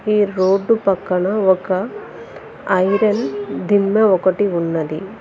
ఈ రోడ్డు పక్కన ఒక ఐరన్ దిమ్మె ఒకటి ఉన్నది.